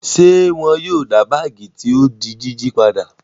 Ṣé wọn yóò dá báágì tí ó di jíjí padà?